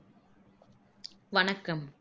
வணக்கம்